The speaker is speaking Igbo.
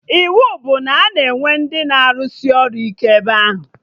Iwu bụ na a ga-enwe ndị na arụsị ọrụ ike ebe ahụ!